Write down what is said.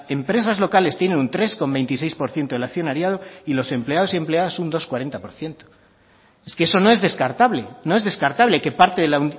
empresas locales tienen un tres coma veintiséis por ciento del accionariado y los empleados y empleadas tienen un dos coma cuarenta por ciento es que eso no es descartable no es descartable que parte de la